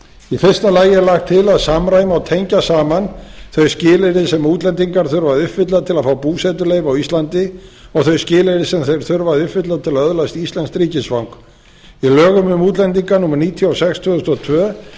í fyrsta lagi er lagt til að samræma og tengja saman þau skilyrði sem útlendingar þurfa að uppfylla til að fá búsetuleyfi á íslandi og þau skilyrði sem þeir þurfa að uppfylla til að öðlast íslenskt ríkisfang í lögum um útlendinga númer níutíu og sex tvö þúsund og tvö